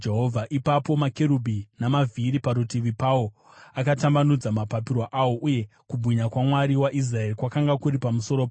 Ipapo makerubhi namavhiri parutivi pawo akatambanudza mapapiro awo, uye kubwinya kwaMwari waIsraeri kwakanga kuri pamusoro pawo.